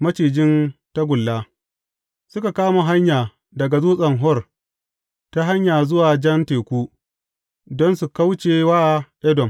Macijin tagulla Suka kama hanya daga Dutsen Hor ta hanya zuwa Jan Teku, don su kauce wa Edom.